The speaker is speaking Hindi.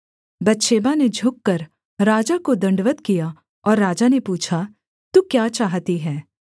बतशेबा ने झुककर राजा को दण्डवत् किया और राजा ने पूछा तू क्या चाहती है